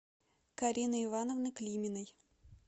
карины ивановны климиной